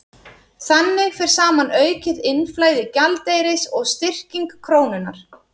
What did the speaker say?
Þannig fer saman aukið innflæði gjaldeyris og styrking krónunnar.